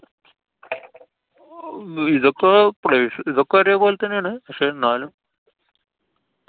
ഇതൊക്കെ പ്ലൈ~ ഇതൊക്കെ ഒരെപോലെതന്നാണ്. പക്ഷെന്നാലും.